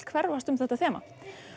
hverfast um þetta þema